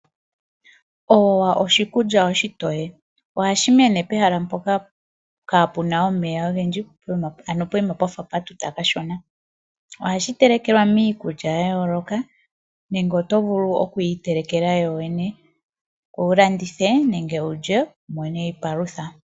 Oowa oshikulya oshitoye, ohashi mene pemahala mpoka kaapuna omeya ogedji ano poyima pwafa pwatuta kashona. Ohashi telekelwa miikulya ya yooloka nenge oto vulu okuyi itelekela yoyene ngoye wulandithe nenge wulye wumone iipalutha.